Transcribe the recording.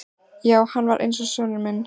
Já, hann var eins og sonur minn.